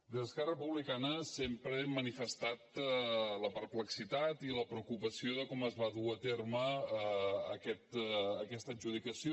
des d’esquerra republicana sempre hem manifestat la perplexitat i la preocupació per com es va dur a terme aquesta adjudicació